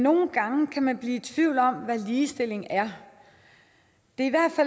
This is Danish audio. nogle gange kan man blive i tvivl om hvad ligestilling er det